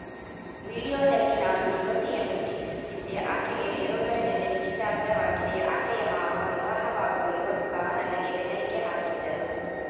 ವಿಡಿಯೋದಲ್ಲಿ ನಾನು ಯುವತಿಯನ್ನು ಪ್ರೀತಿಸುತ್ತಿದ್ದೆ ಆಕೆಗೆ ಬೇರೊಬ್ಬರ ಜತೆ ನಿಶ್ಚಿರ್ಥವಾಗಿದೆ ಆಕೆಯ ಮಾವ ವಿವಾಹವಾಗುವ ಯುವಕ ನನಗೆ ಬೆದರಿಕೆ ಹಾಕಿದ್ದರು